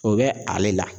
O bɛ ale la